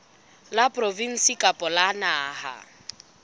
la provinse kapa la naha